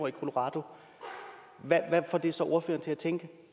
i colorado hvad får det så ordføreren til at tænke